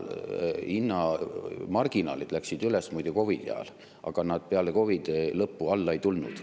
Hinnamarginaalid läksid üles muide COVID-i ajal ja ega nad peale COVID-i lõppu alla ei tulnud.